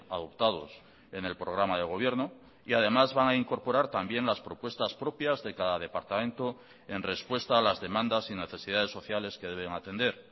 adoptados en el programa de gobierno y además van a incorporar también las propuestas propias de cada departamento en respuesta a las demandas y necesidades sociales que deben atender